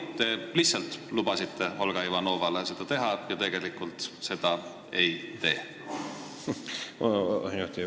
Või te lihtsalt lubasite Olga Ivanovale seda teha, aga tegelikult seda ei tee?